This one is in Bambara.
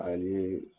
Ani